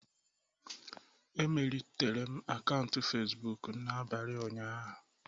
Emelitere m akaụntụ facebook m n'abalị ụnyaahụ